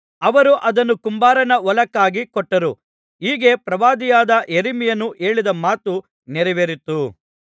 ಅವರು ಅದನ್ನು ಕುಂಬಾರನ ಹೊಲಕ್ಕಾಗಿ ಕೊಟ್ಟರು ಹೀಗೆ ಪ್ರವಾದಿಯಾದ ಯೆರೆಮೀಯನು ಹೇಳಿದ ಮಾತು ನೆರವೇರಿತು